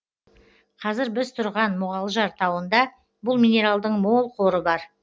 қазір біз тұрған мұғалжар тауында бұл минералдың мол қоры бар